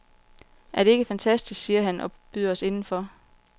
Er det ikke fantastisk, siger han og byder os indenfor.